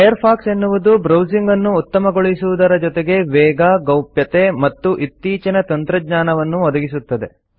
Firefox ಎನ್ನುವುದು ಬ್ರೌಸಿಂಗನ್ನು ಉತ್ತಮಗೊಳಿಸುವುದರ ಜೊತೆಗೆ ವೇಗ ಗೌಪ್ಯತೆ ಮತ್ತು ಇತ್ತೀಚಿನ ತಂತ್ರಜ್ಞಾನವನ್ನೂ ಒದಗಿಸುತ್ತದೆ